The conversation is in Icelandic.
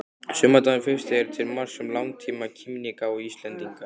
Sumardagurinn fyrsti er til marks um langtíma kímnigáfu Íslendinga.